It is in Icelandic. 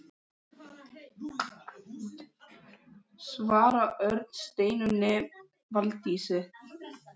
Svavar Örn: Steinunni Valdísi?